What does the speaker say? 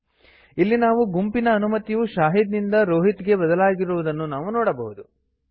ಇಲ್ಲಿ ನಾವು ಗುಂಪಿನ ಅನುಮತಿಯು ಶಾಹಿದ್ ನಿಂದ ರೋಹಿತ್ ಗೆ ಬದಲಾಗಿರುವುದನ್ನು ನೋಡಬಹುದು